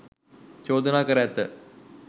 චෝදනා කර ඇත.